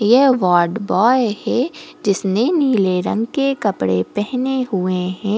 यह वॉर्डबॉय है जिसने नीले रंग के कपडे पहेने हुए है।